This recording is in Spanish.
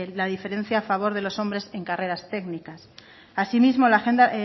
la diferencia a favor de los hombres en carreras técnicas asimismo